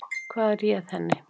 Hvað réð henni?